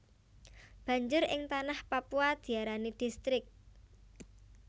Banjur ing Tanah Papua diarani Distrik